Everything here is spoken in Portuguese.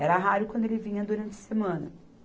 Era raro quando ele vinha durante a semana.